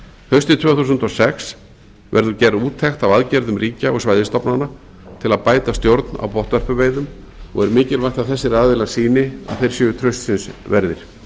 haustið tvö þúsund og sex verður gerð úttekt á aðgerðum ríkja og svæðisstofnana til að bæta stjórn á botnvörpuveiðum og er mikilvægt að þessir aðilar sýni að þeir séu traustsins verðir